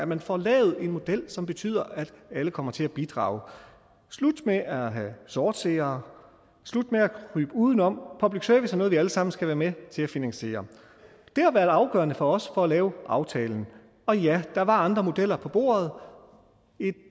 man får lavet en model som betyder at alle kommer til at bidrage slut med at have sortseere slut med at krybe udenom public service er noget vi alle sammen skal være med til at finansiere det har været afgørende for os for at lave aftalen og ja der var andre modeller på bordet